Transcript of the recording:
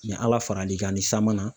ala fara l'i kan ni san ma na